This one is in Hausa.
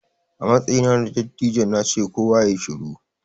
A matsayina na dattijo na ce 'Kowa yayi shiru'!